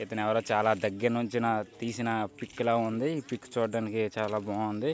ఇతనెవరో చాలా దగ్గర్నుంచిన తీసిన పిక్ లా ఉంది. ఈ పిక్ చూడ్డానికి చాలా బాగుంది.